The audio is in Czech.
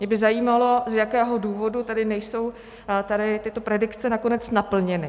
Mě by zajímalo, z jakého důvodu tedy nejsou tady tyto predikce nakonec naplněny.